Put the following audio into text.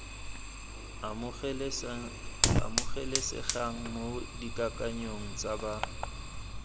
amogelesegang mo dikakanyong tsa ba